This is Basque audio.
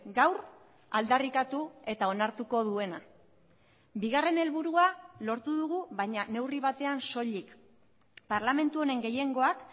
gaur aldarrikatu eta onartuko duena bigarren helburua lortu dugu baina neurri batean soilik parlamentu honen gehiengoak